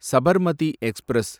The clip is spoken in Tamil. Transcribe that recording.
சபர்மதி எக்ஸ்பிரஸ்